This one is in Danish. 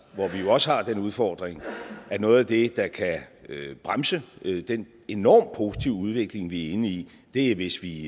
hvor vi jo også har den udfordring at noget af det der kan bremse den enormt positive udvikling vi er inde i er hvis vi